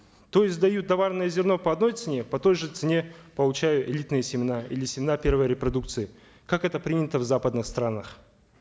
то есть дают товрное зерно по одной цене по той же цене получаю элитные семена или семена первой репродукции как это принято в западных странах